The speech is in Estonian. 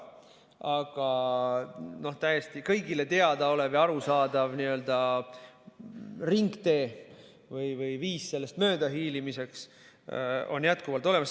Aga täiesti kõigile teadaolev ja arusaadav n‑ö ringtee või viis sellest möödahiilimiseks on jätkuvalt olemas.